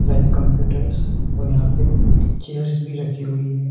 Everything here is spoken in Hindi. ब्लैक कंप्यूटर्स और यहां पे चेयर्स भी रखी हुई है।